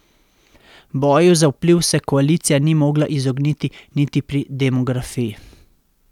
Boju za vpliv se koalicija ni mogla izogniti niti pri demografiji.